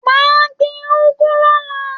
Mà á gbìn ugu lọ̀la